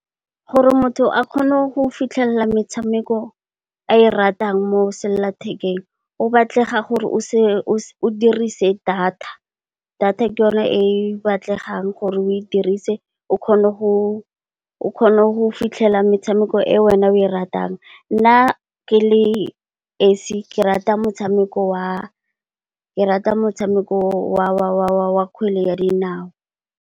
Gore motho a kgone go fitlhelela metshameko a e ratang mo selelathekeng, go batlega gore a dirise data, data ke yone e batlegang gore a e dirise o kgona go fitlhela metshameko e yena a e ratang. Nna ke le esi ke rata motshameko wa kgwele ya dinao.